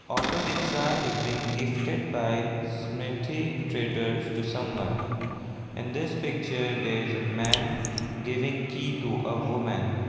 auto rickshaw is being gifted by smridhi traders to someone and this picture there is a man giving key to a woman.